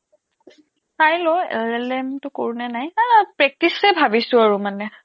চাই লওঁ L টো কৰোঁ নে নাই practice এই ভাবিছো আৰু মানে